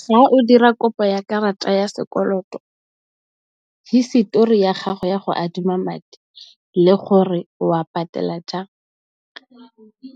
Fa o dira kopo ya karata ya sekoloto hisitori ya gago ya go adima madi le gore o wa patela jang,